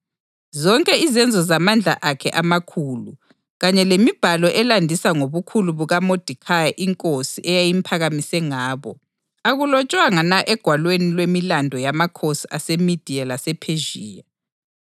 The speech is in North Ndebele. Zonke izenzo zamandla akhe amakhulu, kanye lemibhalo elandisa ngobukhulu bukaModekhayi inkosi eyayimphakamise ngabo, akulotshwanga na egwalweni lwemiLando yamakhosi aseMediya lasePhezhiya?